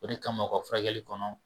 O de kama u ka furakɛli kɔnɔ.